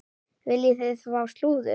Viljið þið fá slúður?